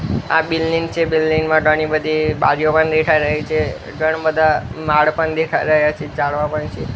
આ બિલ્ડિંગ છે બિલ્ડિંગ મા ઘણી બધી બારીઓ પણ દેખાઈ રહી છે ઘણા બધા માડ પણ દેખાઈ રહ્યા છે ઝાડવા પણ છે.